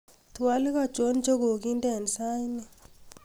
twolik achon chegoginde en saini